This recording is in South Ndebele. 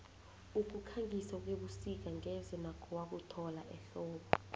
ukukhangisa kwebusik ngeze nakho wakuthola ehlobo